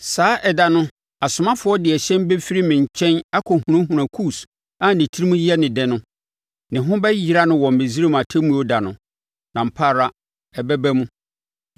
“ ‘Saa ɛda no, asomafoɔ de ahyɛn bɛfiri me nkyɛn akɔhunahuna Kus a ne tirim yɛ no dɛ no. Ne ho bɛyera no wɔ Misraim Atemmuo da no, na ampa ara ɛbɛba mu.